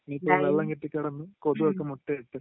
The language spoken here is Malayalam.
ഇനീപ്പോ വെള്ളം കെട്ടിക്കിടന്ന് കൊതു ഒക്കെ മുട്ട ഇട്ട്